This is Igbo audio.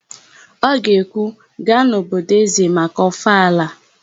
Ọ ga-ekwu, "gaa n'òbí ézē maka ọfala"!